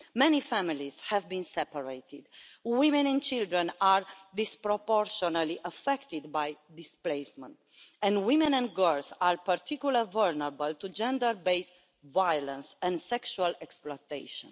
Many families have been separated. Women and children are disproportionately affected by displacement, and women and girls are particularly vulnerable to gender-based violence and sexual exploitation.